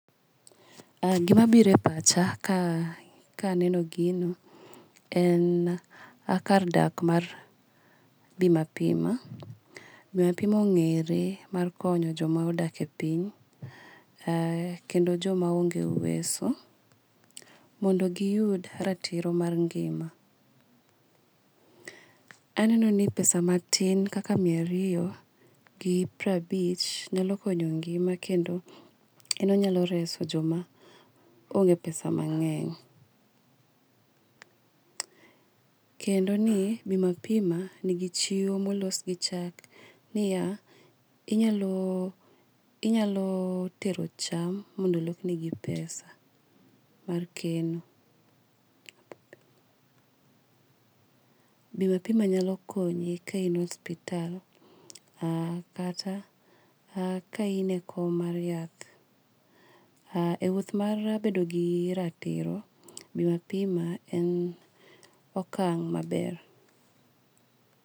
Gima biro epacha ka anenbo gino en kar dak mar Bima pima. Bima pima ongere mar konyo joma odakie ethim kendo jomaonge uweso mondo giyud ratiro mar ngima. Anenoni pesa matin kaka miya ariyo gi prabich nyalo konyo ngima kendo en onyalo reso joma onge pesa mangeny. Kendoni Bima pima nigi chiwo molosgi chak niya inyaloo inyalo tero cham mondo olokni gi pesa mar keno. Bima pima nyalo konyi ka ine osipital aa kata aa ka in ekony mar yath. Aa ewuoth mar bedo gi ratiro, bima pima en okang' maber.